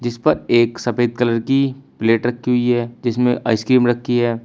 इस पर एक सफेद कलर की प्लेट रखी हुई है जिसमें आइसक्रीम रखी है।